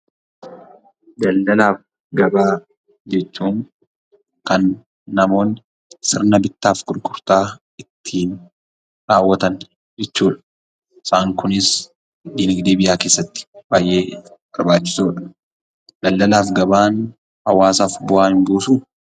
Daldaala fi gabaa jechuun kan namoonni sirna bittaa fi gurgurtaa ittiin raawwatan jechuudha. Isaan Kunis diinagdee biyya keessatti baay'ee barbaachisoodha.